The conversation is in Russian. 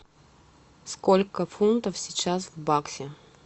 сколько фунтов сейчас в баксе